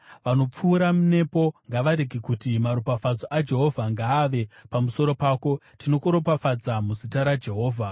Vanopfuura nepo ngavarege kuti, “Maropafadzo aJehovha ngaave pamusoro pako; tinokuropafadza muzita raJehovha.”